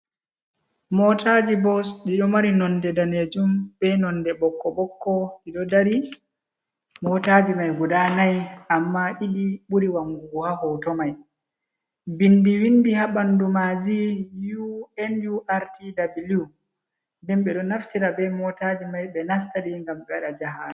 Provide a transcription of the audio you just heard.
Motaji bos dido mari nonde danejum, be nonde bokko bokko dido dari motaji mai guda nai amma didi buri wangugu ha hoto mai bindi windi ha bandu maji unurtw den be do naftira be motaji mai be nastadi ngam bewada jahagal.